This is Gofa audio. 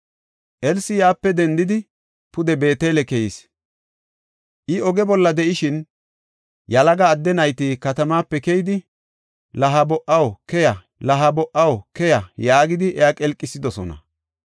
Elsi yaape dendidi, pude Beetele keyis. I oge bolla de7ishin, yalaga adde nayti katamape keyidi, “La ha bo77aw, keya! La ha bo77aw, keya” yaagidi iya qelqisidosona.